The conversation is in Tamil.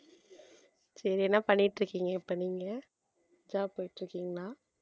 சரி என்ன பண்ணிட்டு இருக்கீங்க இப்ப நீங்க job போயிட்டு இருக்கீங்களா